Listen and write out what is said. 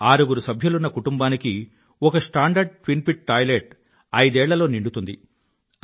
ఆరుగురు సభ్యులున్న కుటుంబానికి ఒక స్టాండర్డ్ ట్విన్ పిట్ టాయిలెట్ ఐదేళ్ళ లో నిండుతుంది